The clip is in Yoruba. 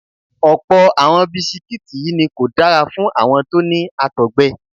Ọ̀pọ̀ àwọn bisikítì yí ni kò dára fún àwọn tó ní Àtọ̀gbẹ.